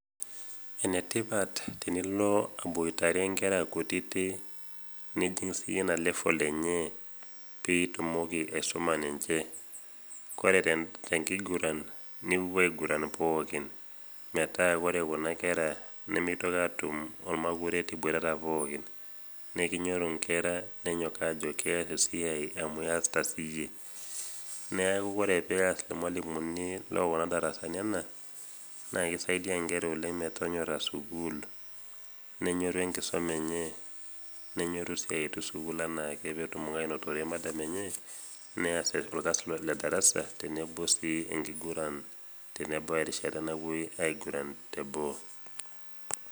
Enetipat tenilo aboitare nkera kutiti nijing' siyie ina level enye piitumoki  aisuma ninche kore tenkiguran niwuopuo aiguran pookin metaa kore kuna kera nemeitoki aatum olmakuret iboitata pookin, nekinyorru inkera nenyok ajo keas esiai amu iasita siyie. Neaku kore peas ilmalimuni lookuna darasani ena naake  eisaidia nkera oleng' metonyorra sukul nenyorru  enkisoma enye, nenyorru sii aetu sukul anaake peetumoki anotore  madam enye neas olkasi le darasa tenebo sii enkiguran tenebau erishata napuoi aiguran te boo.